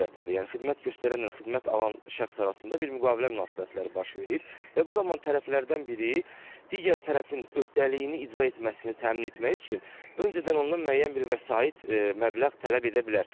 Yəni xidmət göstərənlə xidmət alan şəxs arasında bir müqavilə münasibətləri baş verir və bu zaman tərəflərdən biri digər tərəfin öhdəliyini icra etməsini təmin etmək üçün öncədən ondan müəyyən bir vəsait məbləğ tələb edə bilər.